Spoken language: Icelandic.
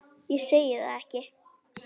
Ég segi það ekki.